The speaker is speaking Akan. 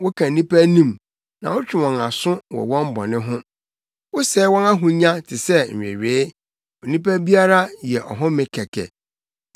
Woka nnipa anim, na wotwe wɔn aso wɔ wɔn bɔne ho; wosɛe wɔn ahonya te sɛ nwewee; onipa biara yɛ ɔhome kɛkɛ.